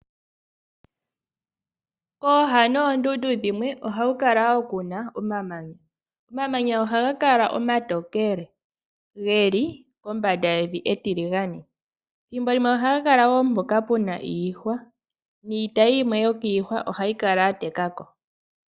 Kooha dhoondundu dhimwe ohaku kala kuna omamanya. Omamanya ohaga kala omatookele geli kombanda yevi etiligane. Thimbo limwe ohaga kala woo mpoka pena iihwa niitayi yimwe yiihwa ohayi kala yatekako.